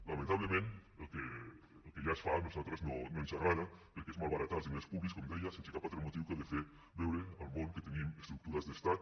lamentablement el que ja es fa a nosaltres no ens agrada perquè és malbaratar els diners públics com deia sense cap altre motiu que el de fer veure al món que tenim estructures d’estat